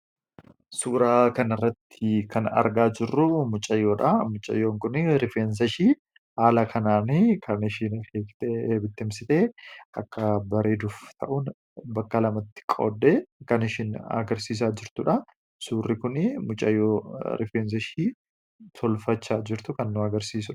suuraa kan irratti kan argaa jirruu mucayyoodha. Mucayyoon kun rifeensashii haala kanaani kan ishiin hiekte ebittimsite akka bareeduuf ta'uun bakka lamatti qoode kan ishiin agarsiisaa jirtuudha suurri kuni mucayyoo rifeensashii tolfachaa jirtu kan nu agarsiisua